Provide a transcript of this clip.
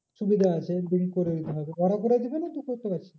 সুবিধা আছে করে দিতে হবে। ওরা করে দেবে না তুই করতে পারছিস?